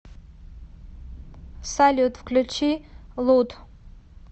салют включи лут